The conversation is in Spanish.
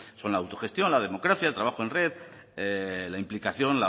son la autogestión la democracia el trabajo en red la implicación